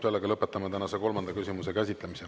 Sellega lõpetame tänase kolmanda küsimuse käsitlemise.